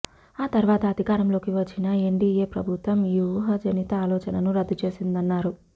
ఆతర్వాత అధికారంలోకి వచ్చిన ఎన్డిఏ ప్రభుత్వం ఈ ఊహాజనిత ఆలోచనను రద్దు చేసిందన్నారు